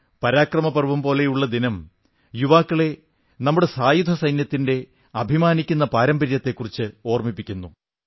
പരാക്രം പർവ്വ് പോലുള്ള ദിനം യുവാക്കളെ നമ്മുടെ സായുധ സേനകളുടെ അഭിമാനിക്കുന്ന പാരമ്പര്യത്തെക്കുറിച്ച് ഓർമ്മിപ്പിക്കുന്നു